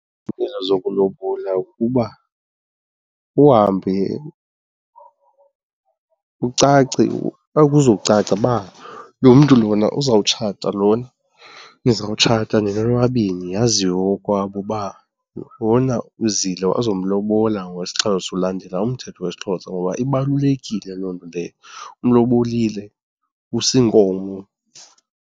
zokulobola kukuba uhambe ucace kuzocaca uba lo mntu lona uzotshata lona, nizawutshata nina nobabini yaziwe kokwabo uba lona uzile wazomlombola ngokwesiXhosa. Ulandela umthetho wesiXhosa ngoba ibalulekile loo nto leyo umlobolile, use iinkomo.